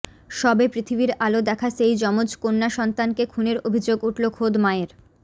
সবে পৃথিবীর আলো দেখা সেই যমজ কন্যাসন্তানকে খুনের অভিযোগ উঠল খোদ মায়ের